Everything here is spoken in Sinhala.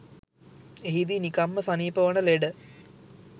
එහිදී නිකම්ම සනීප වන ලෙඩ